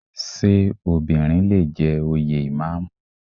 Ṣé obìnrin lè jẹ òye Ìmáàmù?